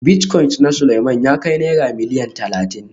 Bilitcoin na Suleiman ya kai Naira Miliyan Talatin